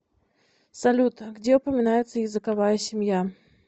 салют где упоминается языковая семья